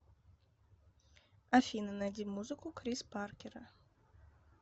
афина найди музыку крис паркера